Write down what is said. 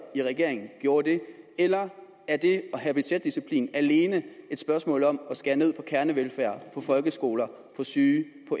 i regeringen gav det eller er det at have budgetdisciplin alene et spørgsmål om at skære ned på kernevelfærd og folkeskoler syge